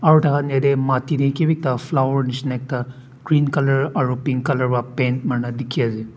aru taikhan yetey mati tey kiba ekta flower nishina ekta green color aru pink color wa paint marina dikhi ase.